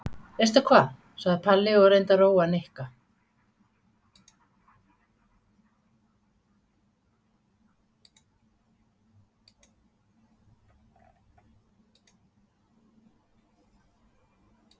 Veistu hvað? sagði Palli og reyndi að róa Nikka.